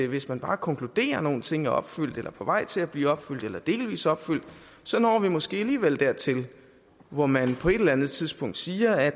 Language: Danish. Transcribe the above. hvis man bare konkluderer at nogle ting er opfyldt eller på vej til at blive opfyldt eller er delvist opfyldt så når vi måske alligevel dertil hvor man på et eller andet tidspunkt siger at